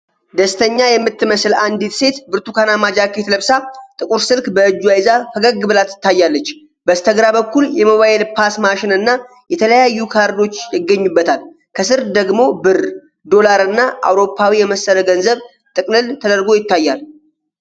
ደስተኛ የምትመስል አንዲት ሴት ብርቱካናማ ጃኬት ለብሳ ጥቁር ስልክ በእጇ ይዛ ፈገግ ብላ ትታያለች። በስተግራ በኩል የሞባይል ፖስ ማሽን እና የተለያዩ ካርዶች ይገኙበታል፤ ከስር ደግሞ ብር፣ ዶላር እና አውሮፓዊ የመሰለ ገንዘብ ጥቅልል ተደርጎ ይታያል።